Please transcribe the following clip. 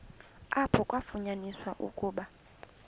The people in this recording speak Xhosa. apho kwafunyaniswa ukuba